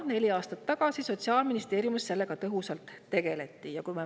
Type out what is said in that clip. Neli aastat tagasi tegeleti Sotsiaalministeeriumis sellega väga tõhusalt.